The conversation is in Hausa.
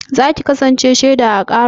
Za ki kasance shaiɗa a ƙarar?